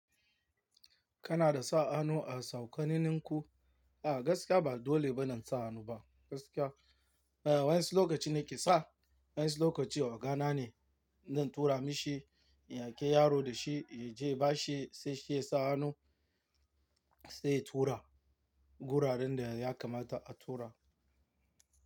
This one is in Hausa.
Kana da sa hannu a saukanininku? A gaskiya ba dole ba na sa hannu ba. Gaskiya, eh wa'insu lokaci nake sa, wa'insu lokaci ogana ne zan tura mishi, in aiki yaro da shi ya je ya ba shi sai shi ya sa hannu sai ya tura guraren da ya kamata a tura.